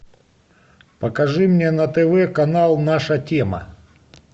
покажи мне на тв канал наша тема